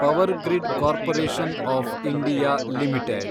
power grid corporation of India limited